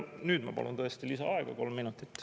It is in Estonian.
Nüüd ma palun lisaaega kolm minutit.